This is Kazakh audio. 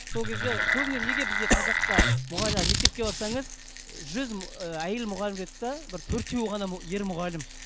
сол кезде көбіне неге бізде қазақта мектепке барсаңыз жүз і әйел мұғалім жүреді де бір төртеуі ғана ер мұғалім